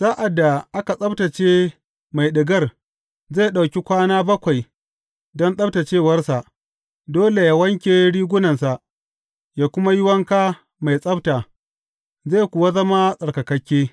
Sa’ad da aka tsabtacce mai ɗigar, zai ɗauki kwana bakwai don tsabtaccewarsa; dole yă wanke rigunansa, yă kuma yi wanka mai tsabta, zai kuwa zama tsarkakakke.